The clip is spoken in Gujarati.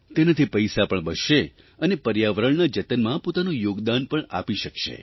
તેનાથી પૈસા પણ બચશે અને પર્યાવરણના જતનમાં પોતાનું યોગદાન પણ આપી શકશે